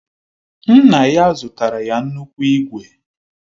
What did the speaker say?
Nna ya zụtara ya nnukwu ígwè